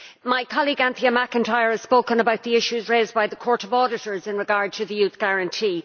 My colleague, Anthea McIntyre, has spoken about the issues raised by the Court of Auditors in regard to the Youth Guarantee.